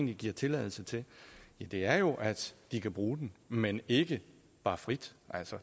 vi giver tilladelse til ja det er jo at de kan bruge den men ikke bare frit